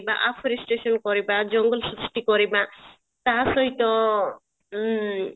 afforestation କରିବା ଜଙ୍ଗଲ ସୃଷ୍ଟି କରିବା ତା ସହିତ ଉଁ